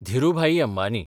Dhirubhai Ambani